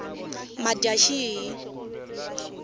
madyaxihi